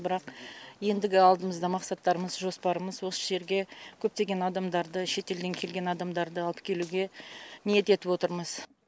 бірақ ендігі алдымызда мақсаттарымыз жоспарымыз осы жерге көптеген адамдарды шетелден келген адамдарды алып келуге ниет етіп отырмыз